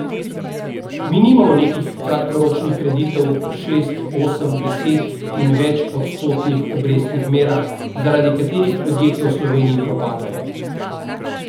Mi nimamo nekih kratkoročnih kreditov po šest, osem, deset in več odstotnih obrestnih merah, zaradi katerih podjetja v Sloveniji propadajo.